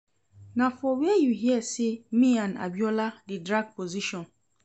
Na for where you hear say me and Abiola dey drag position?